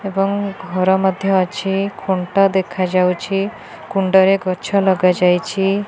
ଏବଂ ଘର ମଧ୍ୟ ଅଛି ଖୁଣ୍ଟ ଦେଖାଯାଉଛି କୁଣ୍ଡ ରେ ଗଛ ଲଗାଯାଇଛି।